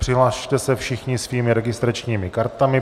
Přihlaste se všichni svými registračními kartami.